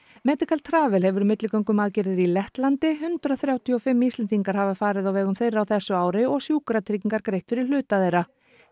medical Travel hefur milligöngu um aðgerðir í Lettlandi hundrað þrjátíu og fimm Íslendingar hafa farið á vegum þeirra á þessu ári og Sjúkratryggingar greitt fyrir hluta þeirra